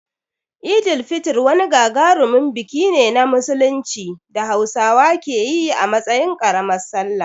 Eid al-Fitr wani gagarumin biki ne na Musulunci da Hausawa ke yi a matsayin ƙaramar Sallah.